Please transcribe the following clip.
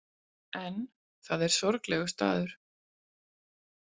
En það er sorglegur staður.